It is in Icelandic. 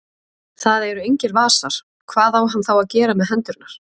Það eru engir vasar, hvað á hann þá að gera með hendurnar?